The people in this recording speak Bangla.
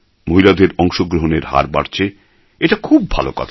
মহিলাদের অংশগ্রহণের হার বাড়ছে এটা খুব ভালো কথা